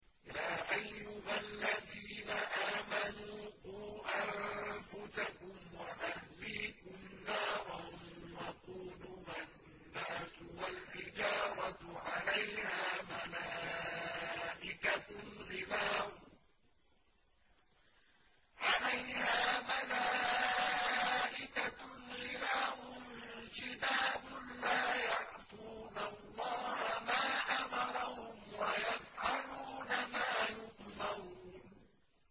يَا أَيُّهَا الَّذِينَ آمَنُوا قُوا أَنفُسَكُمْ وَأَهْلِيكُمْ نَارًا وَقُودُهَا النَّاسُ وَالْحِجَارَةُ عَلَيْهَا مَلَائِكَةٌ غِلَاظٌ شِدَادٌ لَّا يَعْصُونَ اللَّهَ مَا أَمَرَهُمْ وَيَفْعَلُونَ مَا يُؤْمَرُونَ